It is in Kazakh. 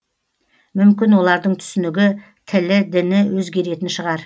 мүмкін олардың түсінігі тілі діні өзгеретін шығар